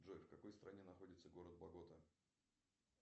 джой в какой стране находится город богота